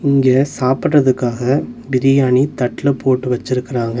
இங்க சாப்புட்றதுக்காக பிரியாணி தட்ல போட்டு வெச்சிருக்குறாங்க.